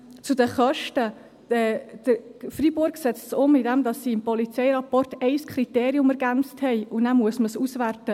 Zu den Kosten: Freiburg setzt es um, indem sie im Polizeirapport ein einziges Kriterium ergänzt haben, und dann muss man es auswerten.